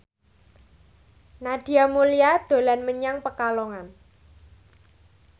Nadia Mulya dolan menyang Pekalongan